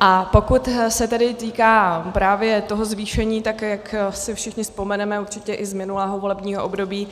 A pokud se tedy týká právě toho zvýšení, tak jak si všichni vzpomeneme určitě i z minulého volebního období,